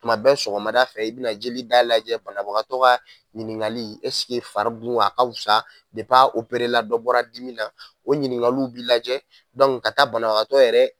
Tuma bɛɛ sɔgɔmada fɛ i bɛ na jeli da lajɛ banabagatɔ ka ɲiningali esike fari dun wa a ka fusa dep'a operela dɔ bɔra dimi na o ɲiningaliw bi lajɛ dɔnku ka taa banabagatɔ yɛrɛ